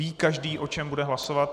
Ví každý, o čem bude hlasovat?